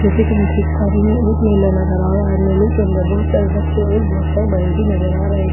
जैसे कि मैं देख पा रही हूं एक मेला नजर आ रहा है मेले के अंदर बहुत सारे बच्चे और बहुत सारे बड़े भी नजर आ रहे हैं ओ --